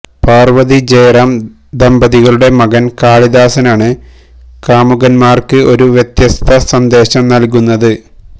പാര്വ്വതി ജയറാം ദമ്പതികളുടെ മകന് കാളിദാസനാണ് കാമുകന്മാര്ക്ക് ഒരു വ്യത്യസ്ത സന്ദേശം നല്കുന്നത്